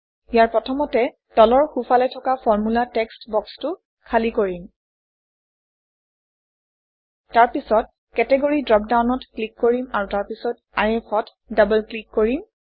ইয়াত প্ৰথমতে তলৰ সোঁফালে থকা ফৰ্মুলা টেক্সট্ বক্সটো খালী কৰিম তাৰপিছত কেটগৰী ড্ৰপডাউনত ক্লিক কৰিম আৰু তাৰপিছত IF অত ডবল ক্লিক কৰিম